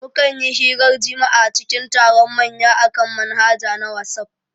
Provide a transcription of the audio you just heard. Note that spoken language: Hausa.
Mukanyi hirar jima'a cikin taron manya akan manhaja na wasaf